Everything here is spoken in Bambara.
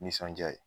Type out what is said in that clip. Nisɔndiya ye